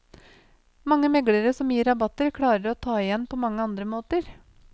Mange meglere som gir rabatter, klarer å ta det igjen på mange andre måter.